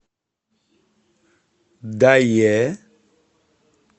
дае